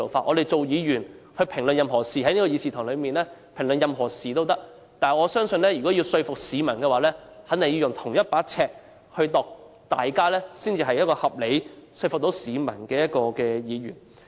我們議員在議事堂可以評論任何事，但若要說服市民便肯定要用同一把尺，這樣才算是一位合理及能夠說服市民的議員。